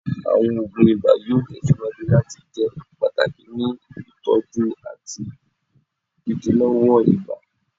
Awọn oogun iba yoo tẹsiwaju lati jẹ pataki ni itọju ati idilọwọ ibà